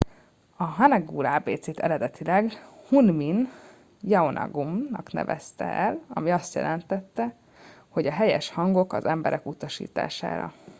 a hangeul ábécét eredetileg hunmin jeongeum nak nevezte el ami azt jelenti hogy a helyes hangok az emberek utasítására